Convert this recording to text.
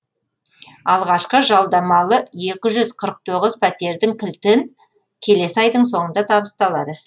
алғашқы жалдамалы екі жүз қырық тоғыз пәтердің кілтін келесі айдың соңында табысталады